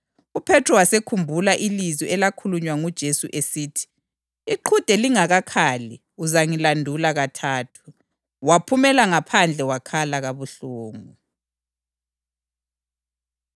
UPhethro waselikhumbula ilizwi elakhulunywa nguJesu esithi: “Iqhude lingakakhali uzangilandula kathathu.” Waphumela ngaphandle wakhala kabuhlungu.